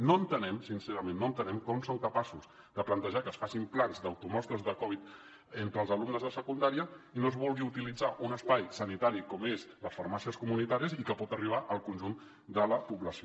no entenem sincerament no ho entenem com són capaços de plantejar que es facin plans d’automostres de covid entre els alumnes de secundària i no es vulgui utilitzar un espai sanitari com són les farmàcies comunitàries i que pot arribar al conjunt de la població